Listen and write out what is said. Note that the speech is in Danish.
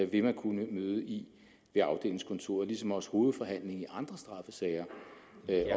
vil man kunne møde i ved afdelingskontoret ligesom også hovedforhandlingen i andre straffesager